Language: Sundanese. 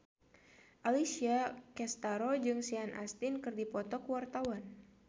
Alessia Cestaro jeung Sean Astin keur dipoto ku wartawan